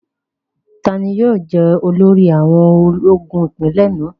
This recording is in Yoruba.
Tani yóò jẹ́ olórí àwọn ológun ipinlẹ̀ náà?